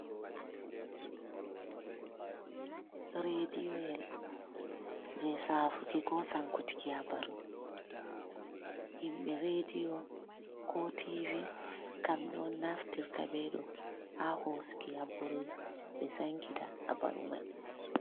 Reediyoyel jey saafuki ko sankutiki habaru. Himɓe reediyo koo tiivi kamɓe on naftirta ɓe ɗo ha hoosuki habaru ɓe sankita habaru may.